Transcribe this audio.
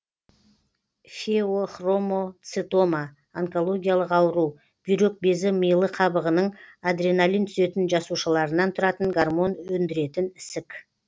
феохромоцитома онкологиялық ауру бүйрек безі милы қабығының адреналин түзетін жасушаларынан тұратын гормон өндіретін ісік